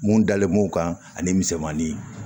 Mun dalen b'o kan ani misɛmanin